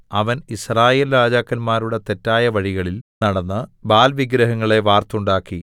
അവൻ യിസ്രായേൽ രാജാക്കന്മാരുടെ തെറ്റായ വഴികളിൽ നടന്ന് ബാല്‍ വിഗ്രഹങ്ങളെ വാർത്തുണ്ടാക്കി